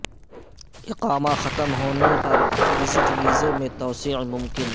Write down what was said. اقامہ ختم ہونے پر وزٹ ویزے میں توسیع ممکن